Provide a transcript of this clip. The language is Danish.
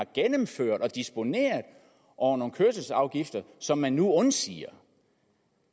gennemførte og disponerede over nogle kørselsafgifter som man nu undsiger